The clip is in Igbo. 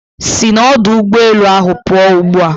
Sị n'ọdụụgbọala ahụ pụọ ugbu a!